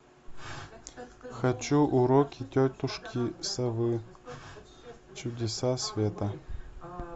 хочу уроки тетушки совы чудеса света